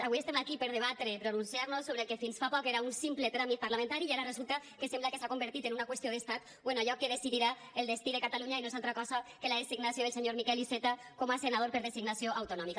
avui estem aquí per debatre i pronunciar nos sobre el que fins fa poc era un simple tràmit parlamentari i ara resulta que sembla que s’ha convertit en una qüestió d’estat o en allò que decidirà el destí de catalunya i no és altra cosa que la designació del senyor miquel iceta com a senador per designació autonòmica